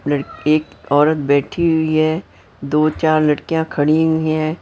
एक औरत बैठी हुई है दो चार लड़कियां खड़ी हुई हैं।